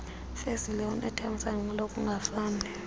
fezile unethamsanqa lokungafani